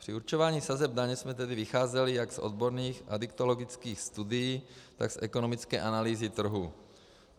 Při určování sazeb daně jsme tedy vycházeli jak z odborných adiktologických studií, tak z ekonomické analýzy trhu.